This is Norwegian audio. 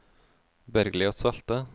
Bergliot Salte